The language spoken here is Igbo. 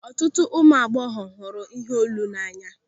Ọtụtụ ụmụ agbọghọ hụrụ iheolu n'anya.